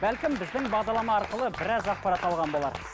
бәлкім біздің бағдарлама арқылы біраз ақпарат алған болар